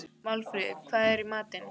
Málfríður, hvað er í matinn?